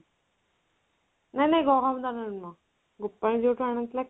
ନାଇଁ ନାଇଁ ଗହମ ଦାନାରେ ନୁହଁ ଗୋପାଳ ଯୋଉଠୁ ଆଣିଥିଲା